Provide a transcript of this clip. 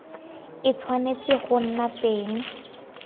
e tshwanetse go nna teng